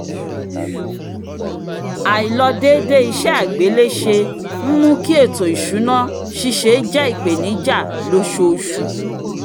àìlọdéédé iṣẹ́ àgbéléṣe ń mú kí ètò ìṣùná ṣíṣe jẹ́ ìpèníjà lóṣooṣù